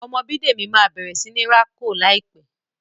Ọmọ Bidemi má bẹrẹ sí ní rà kò láìpé.